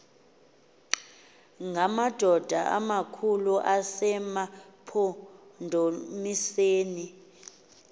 ngamadoda amakhulu asemampondomiseni